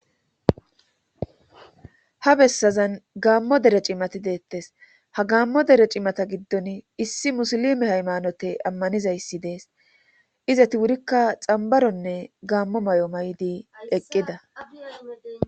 ha bessazan gaammo dere cimati deettes ha gaammo dere cimata giddon issi musilime haymanote ammanizayssi dees izati wurikka xambaronne gaammo may7o may7di eqqida